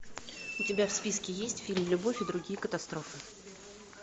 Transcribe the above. у тебя в списке есть фильм любовь и другие катастрофы